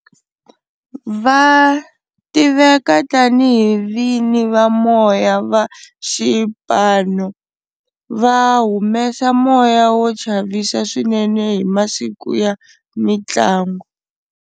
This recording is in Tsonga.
Va tiveka tani hi vini va moya va xipano va humesa moya wo chavisa swinene hi masiku ya mintlangu.